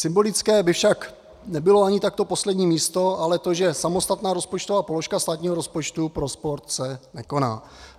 Symbolické by však nebylo ani tak to poslední místo, ale to, že samostatná rozpočtová položka státního rozpočtu pro sport se nekoná.